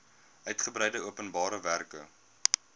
uitgebreide openbare werke